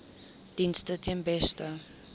dienste ten beste